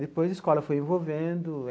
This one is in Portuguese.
Depois, a escola foi envolvendo.